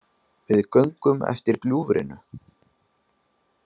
Við göngum eftir gljúfrinu